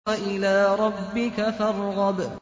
وَإِلَىٰ رَبِّكَ فَارْغَب